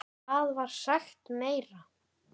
Hvað var sagt meira?